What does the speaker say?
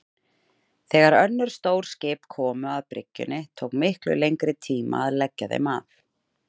Þegar önnur stór skip komu að bryggjunni tók miklu lengri tíma að leggja þeim að.